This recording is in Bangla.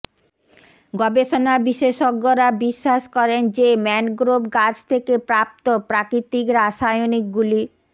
গবেষণা বিশেষজ্ঞরা বিশ্বাস করেন যে ম্যানগ্রোভ গাছ থেকে প্রাপ্ত প্রাকৃতিক রাসায়নিকগুলি